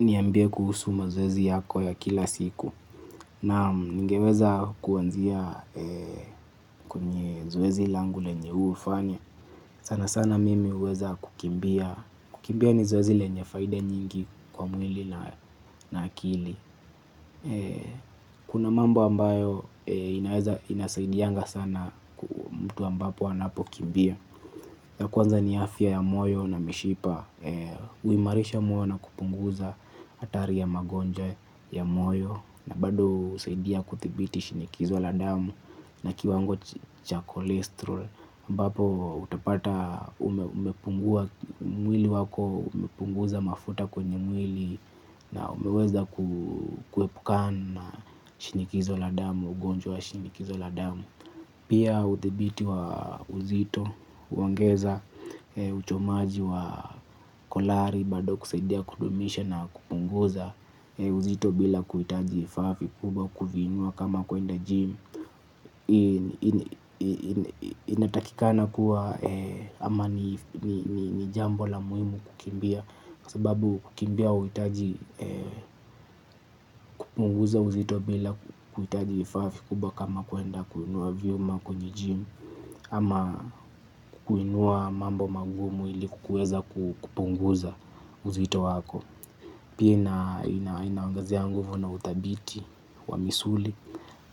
Niambie kuhusu mazoezi yako ya kila siku. Na ningeweza kuanzia kwenye zoezi langu lenye hufanya sana sana mimi huweza kukimbia. Kukimbia ni zoezi lenye faida nyingi kwa mwili na akili. Kuna mambo ambayo inasaidianga sana mtu ambapo anapo kimbia ya kwanza ni afya ya moyo na mishipa huimarisha moyo na kupunguza hatari ya magonjwa ya moyo. Na bado husaidia kuthibiti shinikizo la damu na kiwango cha kolesterol ambapo utapata umepungua mwili wako umepunguza mafuta kwenye mwili. Na umeweza kuhepukana shinikizo la damu, ugonjwa shinikizo la damu. Pia uthibiti wa uzito, uongeza, uchomaji wa kolari, bado kusaidia kudumisha na kupunguza uzito bila kuitaji vafa vikubwa kuvinua kama kuenda jim. Inatakikana kuwa ama ni jambo la muhimu kukimbia, kwa sababu kukimbia hauitaji kupunguza uzito bila kuitaji vifaa vikubwa kama kuenda kuinua vyuma kwenye gym. Ama kuinua mambo magumu ili kueza kupunguza uzito wako. Pia inaongezea nguvu na uthabiti wa misuli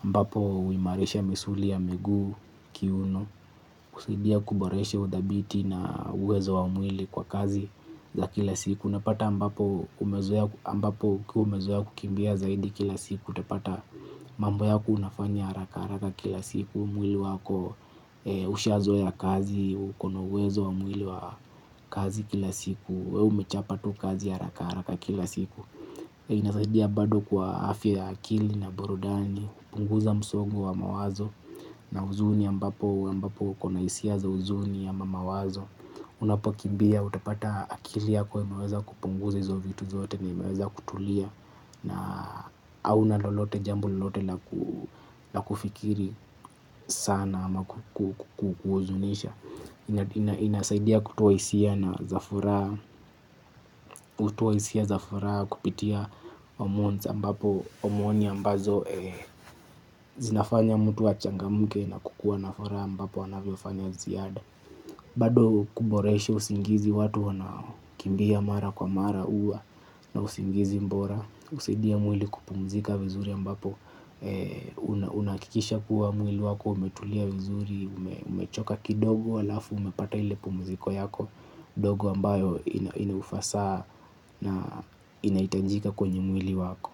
ambapo huimarisha misuli ya miguu kiuno. Kusaidia kuboreshe uthabiti na uwezo wa mwili kwa kazi za kila siku. Unapata ambapo umezoea ukiwa umezoea kukimbia zaidi kila siku. Utapata mambo yako unafanya haraka haraka kila siku. Mwili wako ushazoea kazi uko na uwezo wa mwili wa kazi kila siku wewe umechapa tu kazi haraka haraka kila siku. Inasaidia bado kwa afya ya akili na burudani. Kupunguza msongo wa mawazo na huzuni ambapo uko na hisia za huzuni ama mawazo. Unapokimbia utapata akili yako imeweza kupunguza hizo vitu zote imeweza kutulia. Na au lolote jambo lolote la kufikiri sana ama kuhuzunisha inasaidia kutoa hisia na zafuraha kutoa hisia zafuraha kupitia pamoja ambapo omoni ambazo zinafanya mtu achangamuke na kukua na furaha ambapo wanavyofanya ziada bado kuboresha usingizi watu wana kimbia mara kwa mara huwa na usingizi bora kusaidia mwili kupumzika vizuri ambapo unahakikisha kuwa mwili wako umetulia vizuri umechoka kidogo alafu umepata ile pumuziko yako dogo ambayo inahufasa na inahitajika kwenye mwili wako.